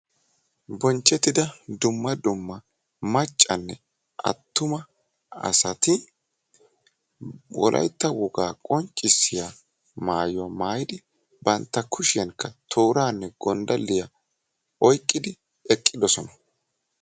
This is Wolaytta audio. Bonchchettida dumma dumma maccane attuma asaati wolaytta wogaa qonccissyaa maayuwa maayidi bantta kushiyanka tooraane gonddaaliya oyqqidi eqqidosona.